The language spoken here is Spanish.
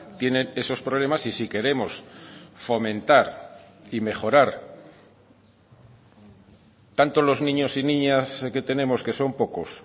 tienen esos problemas y si queremos fomentar y mejorar tanto los niños y niñas que tenemos que son pocos